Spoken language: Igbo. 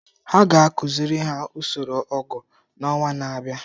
Ha ga-akụziri ha usoro ọgụ n’ọnwa na-abịa.